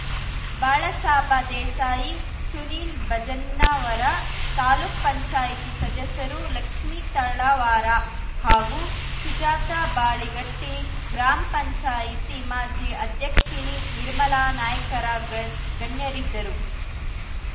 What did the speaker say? ಬಾಳಾಸಾಬ ದೇಸಾಯಿ ಸುನೀಲ್ ಭಜನ್ನವರ ತಾಲೂಕುಪಂಚಾಯ್ತಿ ಸದಸ್ಯರು ಲಕ್ಷ್ಮೀ ತಳವಾರ ಹಾಗೂ ಸುಜಾತಾ ಬಾಳಿಗಟ್ಟಿ ಗ್ರಾಮಪಂಚಾಯ್ತಿ ಮಾಜಿ ಅಧ್ಯಕ್ಷಣಿ ನಿರ್ಮಲಾ ನಾಯ್ಕರ ಗಣ್ ಗಣ್ಯರಿದ್ದರು